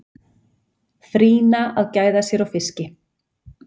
Frýna að gæða sér á fiski.